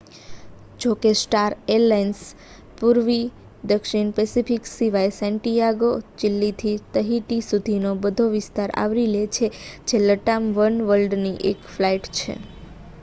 જો કે star alliance પૂર્વી દક્ષિણ પેસિફિક સિવાય સેન્ટિયાગો દ ચિલીથી તહિટી સુધીનો બધો વિસ્તાર આવરી લે છે જે લટામ વનવર્લ્ડની એક ફ્લાઇટ છે